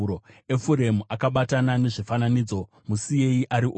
Efuremu akabatana nezvifananidzo; musiyei ari oga!